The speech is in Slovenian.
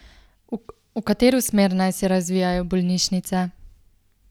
V katero smer naj se razvijajo bolnišnice?